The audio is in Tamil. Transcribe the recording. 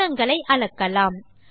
கோணங்களை அளக்கலாம்